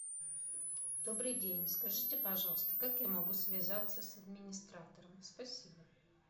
добрый день скажите пожалуйста как я могу связаться с администратором спасибо